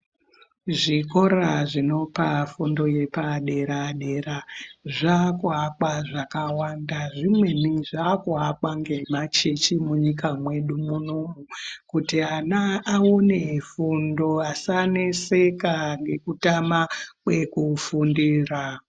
Zvikora zvinopa fundo yepadera-dera zvaakuakwa zvakawanda, zvimweni zvaakuakwa ngemachechi munyika mwedu munomu kuti ana aone fundo, asaneseka ngekutama kwekufundira.